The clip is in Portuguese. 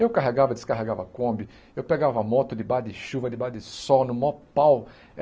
Eu carregava, descarregava kombi, eu pegava moto de baixo de chuva, de baixo de sol, no maior pau.